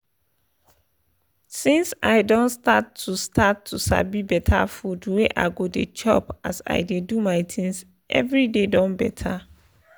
since i don start to start to sabi better food wey i go dey chop as i dey do my things every day don better